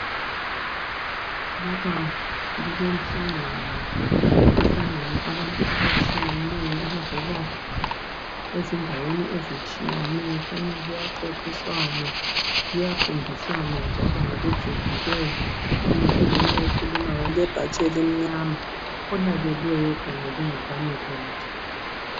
Lapha kulomhlangano kuhlangene abantu abatshiyeneyo abavela ezindaweni ezitshiyeneyo, kukhanya kuyaxoxiswana kuyafundiswana njalo ngokujulileyo kukhona onguye okhulumayo olebhatshi elimnyama olalelweyo okhangelwe ngabanye bonke.